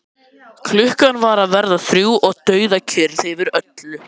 Klukkan var að verða þrjú og dauðakyrrð yfir öllu.